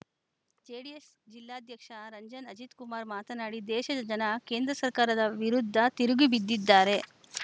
JDS ಜಿಲ್ಲಾಧ್ಯಕ್ಷ ರಂಜನ್‌ ಅಜಿತ್‌ಕುಮಾರ್‌ ಮಾತನಾಡಿ ದೇಶದ ಜನ ಕೇಂದ್ರ ಸರ್ಕಾರದ ವಿರುದ್ಧ ತಿರುಗಿ ಬಿದ್ದಿದ್ದಾರೆ